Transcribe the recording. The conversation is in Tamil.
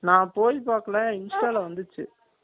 நான் போய் பாக்கல ஆனா insta ல வந்துச்சு